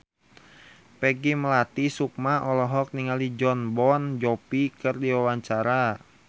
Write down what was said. Peggy Melati Sukma olohok ningali Jon Bon Jovi keur diwawancara